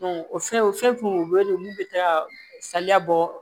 o fɛn o fɛn u bɛ wele olu bɛ taa saliya bɔ